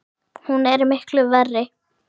Hún er miklu verri!